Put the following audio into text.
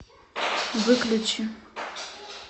выключи